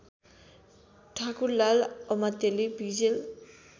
ठाकुरलाल अमात्यले विजेल